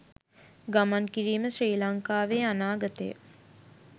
ගමන් කිරීම ශ්‍රී ලංකාවේ අනාගතය